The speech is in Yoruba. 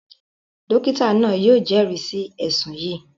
Dókítà náà yóò jẹ́rìí sí ẹ̀ṣùn yìí